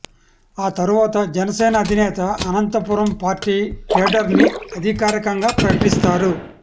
ఆ తరువాత జనసేన అధినేత అనంతపురం పార్టీ కేడర్ ని అధికారికంగా ప్రకటిస్తారు